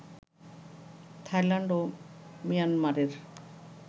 Thailand ও মিয়ানমারের